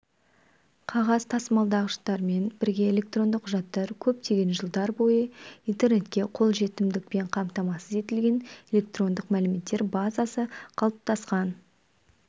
қағаз тасымалдағыштармен бірге электронды құжаттар көптеген жылдар бойы интернетке қол жетімділікпен қамтамасыз етілген электрондық мәліметтер базасы қалыптасқан